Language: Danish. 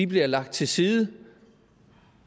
bliver lagt til side